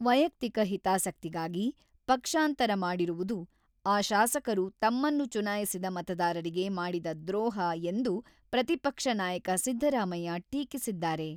ವೈಯಕ್ತಿಕ ಹಿತಾಸಕ್ತಿಗಾಗಿ ಪಕ್ಷಾಂತರ ಮಾಡಿರುವುದು ಆ ಶಾಸಕರು ತಮ್ಮನ್ನು ಚುನಾಯಿಸಿದ ಮತದಾರರಿಗೆ ಮಾಡಿದ ದ್ರೋಹ ಎಂದು ಪ್ರತಿಪಕ್ಷ ನಾಯಕ ಸಿದ್ದರಾಮಯ್ಯ ಟೀಕಿಸಿದ್ದಾರೆ.